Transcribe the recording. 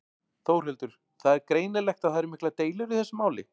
Þórhildur: Það er greinilegt að það eru miklar deilur í þessu máli?